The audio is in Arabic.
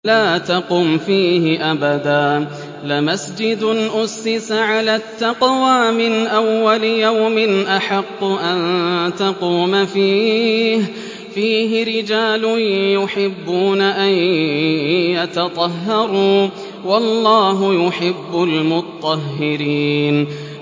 لَا تَقُمْ فِيهِ أَبَدًا ۚ لَّمَسْجِدٌ أُسِّسَ عَلَى التَّقْوَىٰ مِنْ أَوَّلِ يَوْمٍ أَحَقُّ أَن تَقُومَ فِيهِ ۚ فِيهِ رِجَالٌ يُحِبُّونَ أَن يَتَطَهَّرُوا ۚ وَاللَّهُ يُحِبُّ الْمُطَّهِّرِينَ